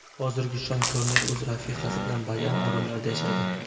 Hozir Shon Konneri o‘z rafiqasi bilan Bagama orollarida yashaydi.